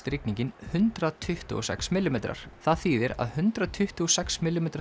rigningin hundrað tuttugu og sex millimetrar það þýðir að hundrað tuttugu og sex millimetra